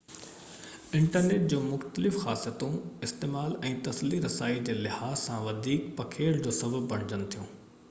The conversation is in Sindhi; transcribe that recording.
انٽرنيٽ جون مختلف خاصيتون استعمال ۽ تسلي رسائي جي لحاظ سان وڌيڪ پکيڙ جو سبب بڻجن ٿيون